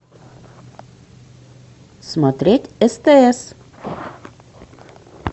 смотреть стс